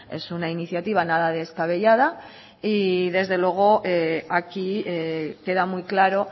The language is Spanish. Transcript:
es una iniciativa nada descabellada y desde luego aquí queda muy claro